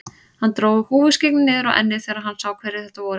Hann dró húfuskyggnið niður á ennið þegar hann sá hverjir þetta voru.